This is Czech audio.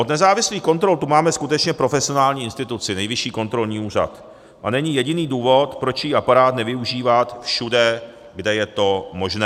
Od nezávislých kontrol tu máme skutečně profesionální instituci, Nejvyšší kontrolní úřad, a není jediný důvod, proč její aparát nevyužívat všude, kde je to možné.